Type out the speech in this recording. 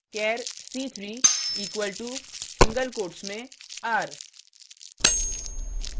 char c3 equal to single quotes में r